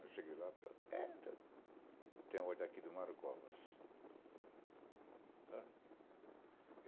Aí cheguei lá e falei, é, tem ordem aqui do Mario Covas.